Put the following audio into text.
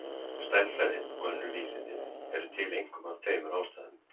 Stærðfræðin og önnur vísindi eru til einkum af tveimur ástæðum.